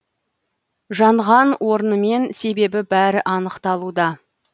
жанған орны мен себебі бәрі анықталуда